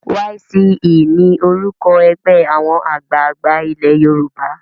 YCE ni orúkọ ẹgbẹ́ àwọn àgbààgbà ilé Yorùbá.